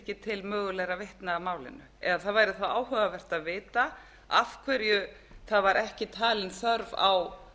ekki til mögulegra vitna að málinu eða það væri þá áhugavert að vita af hverju ekki var talin þörf á